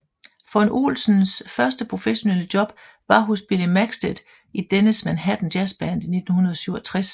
Von Ohlens første professionelle job var hos Billy Maxted i dennes Manhattan Jazzband i 1967